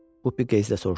Bupi qəzblə soruşdu.